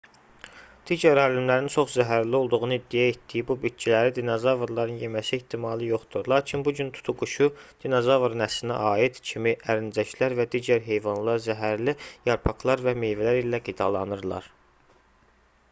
digər alimlərin çox zəhərli olduğunu iddia etdiyi bu bitkiləri dinozavrların yeməsi ehtimalı yoxdur lakin bu gün tutuquşu dinozavr nəslinə aid kimi ərincəklər və digər heyvanlar zəhərli yarpaqlar və meyvələr ilə qidalanırlar